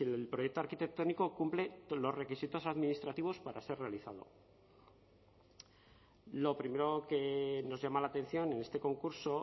el proyecto arquitectónico cumple los requisitos administrativos para ser realizado lo primero que nos llama la atención en este concurso